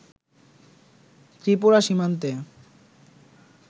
ত্রিপুরা সীমান্তে